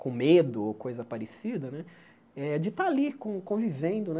com medo ou coisa parecida né, eh de estar ali con convivendo né.